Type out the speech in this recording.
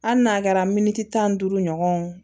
Hali n'a kɛra miniti tan ni duuru ɲɔgɔnw